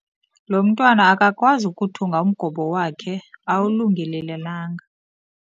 Lo mntwana akakwazi ukuthunga umgobo wakhe awulungelelananga.